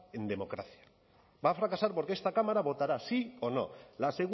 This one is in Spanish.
en democracia va a fracasar porque esta cámara votará sí o no la